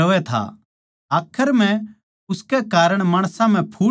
आखर म्ह उसकै कारण माणसां म्ह फूट पड़ी